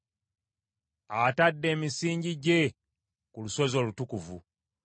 Atadde emisingi gye ku lusozi olutukuvu.